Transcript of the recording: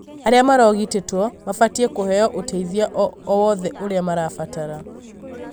aria marogitĩtwo mabatie kũheo ũteithio owothe ũria marabatara.